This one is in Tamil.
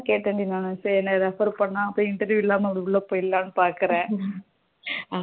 கேட்டேன் டி நானு சரி என்ன refer பண்ணா போயி interview இல்லாம உள்ள போயிறலாம் பாகுறேன்